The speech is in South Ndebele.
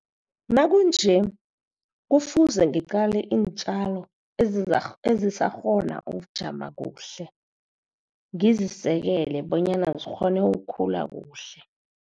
Nakunje kufuze ngitjale iintjalo ezizakukghona ukujama kuhle. Ngizisekele bonyana zikghone ukukhula kuhle.